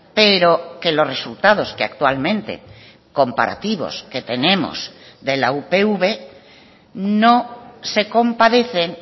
pero que los resultados que actualmente comparativos que tenemos de la upv no se compadecen